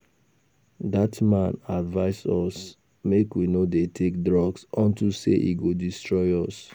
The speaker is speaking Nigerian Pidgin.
Dat man advice us make we no dey take drugs unto say e go destroy us